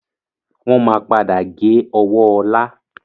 Wọn máa padà gé ọwọ́ ọlá